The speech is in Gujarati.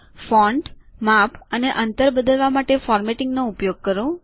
ફોન્ટ માપ અને અંતર બદલવા માટે ફોર્મેટિંગ નો ઉપયોગ કરો